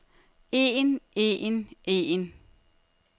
en en en